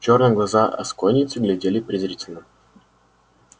чёрные глаза асконийца глядели презрительно